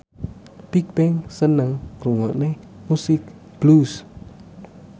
Bigbang seneng ngrungokne musik blues